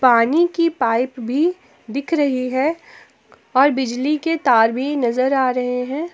पानी की पाइप भी दिख रही है और बिजली के तार भी नजर आ रहे हैं।